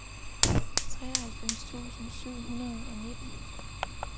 treoghalvfems tusind syv hundrede og nitten